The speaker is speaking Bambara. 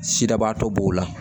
Sidabaatɔ b'o la